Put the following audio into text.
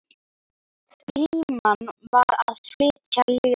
Frímann var að flytja ljóð.